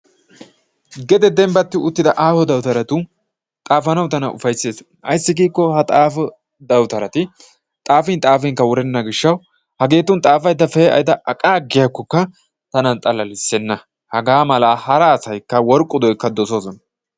gede bembbati uttida aaho dawutaratun xaafanawu tana upayssees. ayssi giikko ha xaafo dawutarati xaafin xaafinkka wurenna giishshawu hageetun xaafaydda pe'ada aqaagiyaakokka tana xalallisenna. hagaa mala daro asay worqqu doykka doosona.